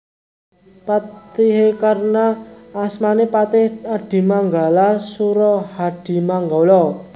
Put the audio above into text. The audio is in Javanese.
Patihé Karna asmané Patih Adimanggala Surahadimanggala